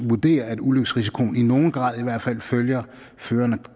vurderer at ulykkesrisikoen i nogen grad i hvert fald følger føreren af